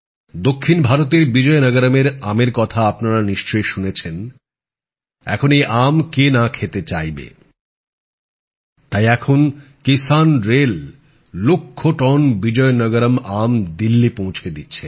দক্ষিন ভারতের বিজয়নগরমের আমের কথা আপনারা নিশ্চয়ই শুনেছেন এখন এই আম কে না খেতে চাইবে তাই এখন কিসান রেল লক্ষ টন বিজয়নগরম আম দিল্লী পৌঁছে দিচ্ছে